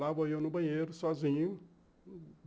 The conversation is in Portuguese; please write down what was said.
Lá vou eu no banheiro, sozinho.